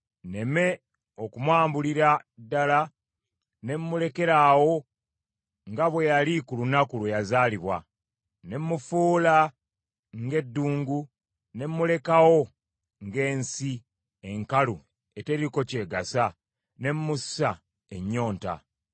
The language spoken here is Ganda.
nneme okumwambulira ddala ne mmulekeraawo nga bwe yali ku lunaku kwe yazaalibwa; ne mmufuula ng’eddungu, ne mmulekawo ng’ensi enkalu eteriiko ky’egasa, ne mmussa ennyonta.